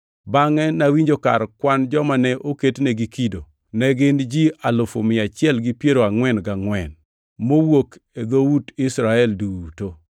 Bangʼe nawinjo kar kwan joma ne oketnegi kido, ne gin ji alufu mia achiel gi piero angʼwen gangʼwen (144,000) mowuok e dhout Israel duto.